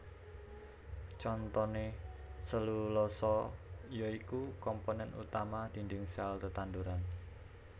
Contoné selulosa ya iku komponen utama dinding sel tetanduran